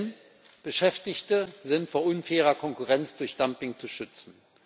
Denn Beschäftigte sind vor unfairer Konkurrenz durch Dumping zu schützen.